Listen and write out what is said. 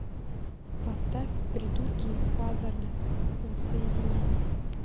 поставь придурки из хаззарда воссоединение